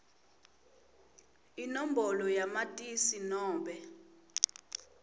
inombolo yamatisi nobe